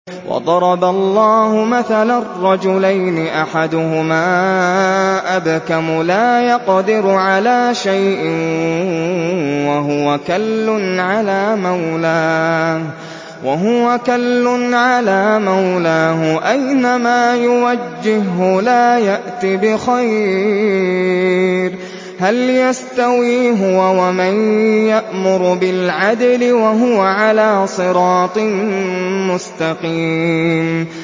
وَضَرَبَ اللَّهُ مَثَلًا رَّجُلَيْنِ أَحَدُهُمَا أَبْكَمُ لَا يَقْدِرُ عَلَىٰ شَيْءٍ وَهُوَ كَلٌّ عَلَىٰ مَوْلَاهُ أَيْنَمَا يُوَجِّههُّ لَا يَأْتِ بِخَيْرٍ ۖ هَلْ يَسْتَوِي هُوَ وَمَن يَأْمُرُ بِالْعَدْلِ ۙ وَهُوَ عَلَىٰ صِرَاطٍ مُّسْتَقِيمٍ